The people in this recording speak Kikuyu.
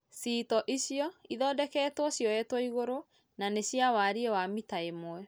cĩĩto ĩcĩo cĩthondekwo cĩoyetwo ĩgũrũ na nĩ cĩa warĩĩ wa mĩta ĩmwe